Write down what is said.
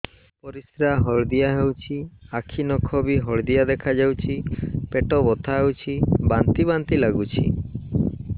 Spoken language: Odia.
ପରିସ୍ରା ହଳଦିଆ ହେଉଛି ଆଖି ନଖ ବି ହଳଦିଆ ଦେଖାଯାଉଛି ପେଟ ବଥା ହେଉଛି ବାନ୍ତି ବାନ୍ତି ଲାଗୁଛି